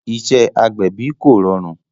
Iṣẹ́ agbẹ̀bí kò rọrùn